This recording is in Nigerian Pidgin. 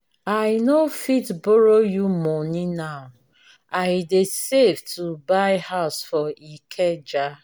i no fit borrow you money now i dey save to buy house for ikeja.